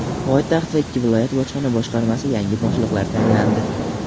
Poytaxt va ikki viloyat bojxona boshqarmasiga yangi boshliqlar tayinlandi.